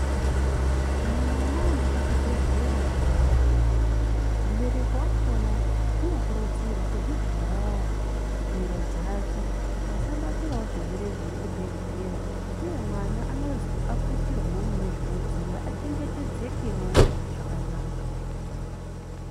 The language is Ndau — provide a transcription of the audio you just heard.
Kana mwana aende kuchibhedhlera koorapwa, mubereki wakona unokurudzirwe kuzvivharawo mhiro dzake kuti asabatirawo zvirwere zvomuchibhedhlera uye mwana anozwi aputirwewo mune zvinodziya achengetedzekewo zvakanaka.